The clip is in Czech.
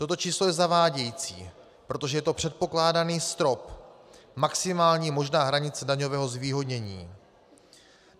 Toto číslo je zavádějící, protože je to předpokládaný strop, maximální možná hranice daňového zvýhodnění.